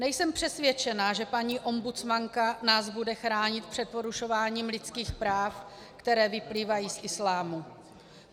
Nejsem přesvědčena, že paní ombudsmanka nás bude chránit před porušováním lidských práv, které vyplývají z islámu.